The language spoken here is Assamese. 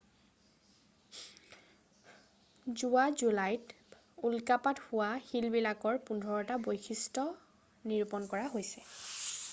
যোৱা জুলাইত উল্কাপাত হোৱা শিলবিলাকৰ পোন্ধৰটাৰ বৈশিষ্ট্য নিৰূপন কৰা হৈছে